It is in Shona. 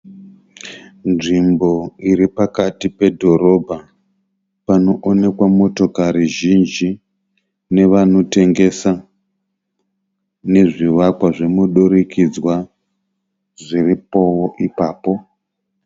Nzvimbo iri pakati pedhorobha kune motokari zhinji nevanotengesa nezvivakwa zvemudurikidzwa zvirpowo ipapo.